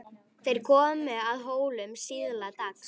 Þeir komu að Hólum síðla dags.